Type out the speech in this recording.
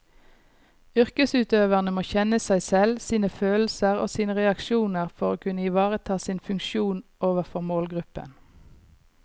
Yrkesutøverne må kjenne seg selv, sine følelser og sine reaksjoner for å kunne ivareta sin funksjon overfor målgruppen.